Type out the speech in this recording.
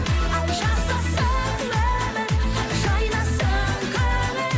ай жасасын өмір жайнасын көңіл